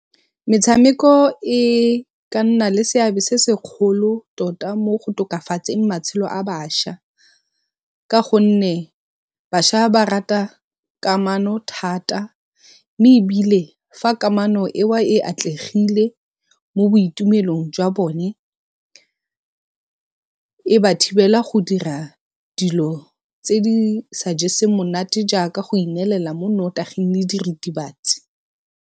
Metshameko e ka nna le seabe se segolo tota mo go tokafatseng matshelo a bašwa. Ka gonne bašwa ba rata kamano thata, mme ebile fa kamano e wa e atlegile mo boitumelong jwa bone e ba thibela go dira dilo tse di sa jeseng monate ka go ineelela mo nnotaging le diritibatsi.